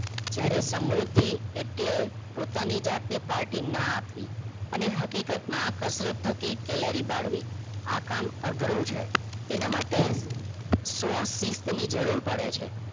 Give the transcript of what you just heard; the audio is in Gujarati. જ્યારે સમૃદ્ધિ એટલે પોતની જાતને party ન આપવી અને હકીકત માં કસરત થકી કેલેરી બળવી આ કામ અઘરું છે તેના માટે સો શિસ્ત ની જરૂર પડે છે